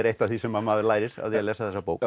eitt af því sem maður lærir af því að lesa þessa bók